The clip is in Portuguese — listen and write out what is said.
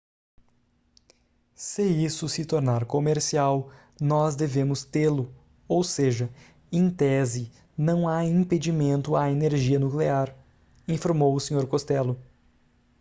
se isso se tornar comercial nós devemos tê-lo ou seja em tese não há impedimento à energia nuclear informou o senhor costello